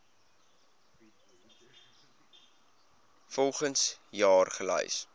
volgens jaar gelys